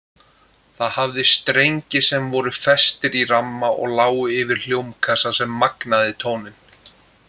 Það hafði strengi sem voru festir í ramma og lágu yfir hljómkassa sem magnaði tóninn.